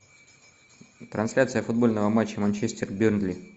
трансляция футбольного матча манчестер бернли